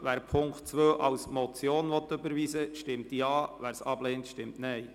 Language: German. Wer diesen als Motion überweisen will, stimmt Ja, wer dies ablehnt, stimmt Nein.